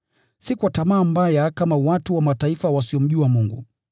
si kwa tamaa mbaya kama watu wa Mataifa wasiomjua Mungu.